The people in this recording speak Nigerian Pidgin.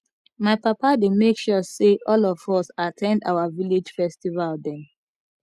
my papa dey make sure sey all of us at ten d our village festival dem